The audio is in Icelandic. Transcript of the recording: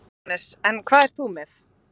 Jóhannes: En hvað ert þú með?